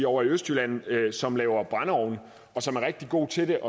ovre i østjylland som laver brændeovne og som er rigtig gode til